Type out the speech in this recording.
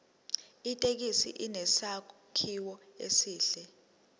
ithekisi inesakhiwo esihle